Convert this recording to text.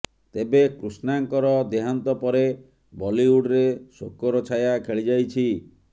ତେବେ କୃଷ୍ଣାଙ୍କର ଦେହାନ୍ତ ପରେ ବଲିଉଡରେ ଶୋକର ଛାୟା ଖେଳିଯାଇଛି